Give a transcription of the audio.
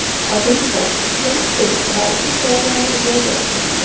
Oddiy misol: stol-stul va idish-tovoqlarni ijaraga olishmoqda.